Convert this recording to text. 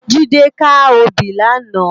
Jide kâ óbì làná